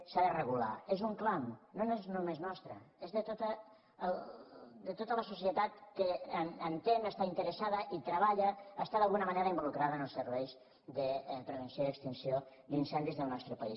s’ha de regular és un clam no és només nostre és de tota la societat que entén està interessada i treballa està d’alguna manera invo·lucrada en els serveis de prevenció i extinció d’incen·dis del nostre país